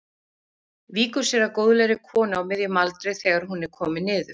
Víkur sér að góðlegri konu á miðjum aldri þegar hún er komin niður.